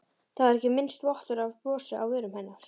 Það var ekki minnsti vottur af brosi á vörum hennar.